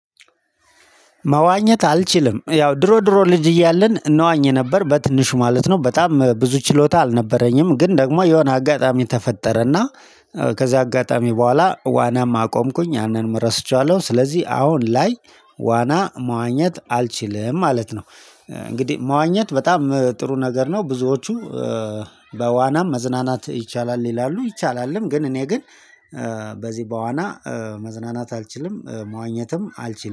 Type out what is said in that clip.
መዋኘት አልችልም ያው ድሮ ድሮ ልጅ እያለን እንዋኝ ነበር በትንሹ ማለት ነው። በጣም ብዙ ችሎታ አልነበረኝም። ግን ደግሞ የሆነ አጋጣሚ ተፈጠረና ከዛ አጋጣሚ በኋላ ዋናም አቆምኩኝ ያንንም ረስቸዋለሁ። ስለዚህ አሁን ላይ ዋና መዋኘት አልችልም ማለት ነው። እንግዲህ መዋኘት በጣም ጥሩ ነገር ነው። ብዙዎቹ በዋናም መዝናናት ይቻላል ይላሉ ይቻላልም። ግን እኔ ግን በዚህ በዋና መዝናናት አልችልም። መዋኘትም አልችልም